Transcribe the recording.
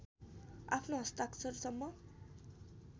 आफ्नो हस्ताक्षरसम्म